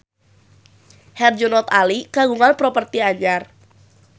Herjunot Ali kagungan properti anyar